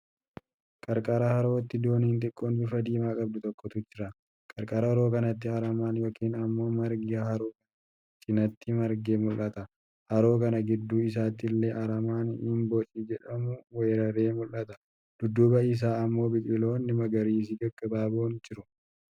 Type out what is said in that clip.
Qarqara harootti dooniin xiqqoon bifa diimaa qabdu tokkotu jira. Qarqara haroo kanaatti aramaan yookiin ammoo margi haroo kana cinaatti margee mul'ata. Haroo kana gidduu isaatti illee aramaan himboocii jedhamu weeraree mul'ata. Dudduuba isaa ammoo biqiloonni magariisi gaggabaaboon jiru.